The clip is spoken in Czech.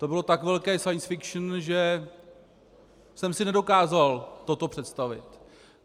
To bylo tak velké science fiction, že jsem si nedokázal toto představit.